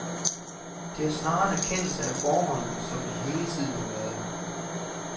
Det er snarere en erkendelse af forholdene, som de hele tiden har været.